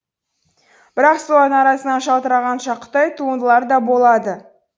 бірақ солардың арасынан жалтыраған жақұттай туындылар да болады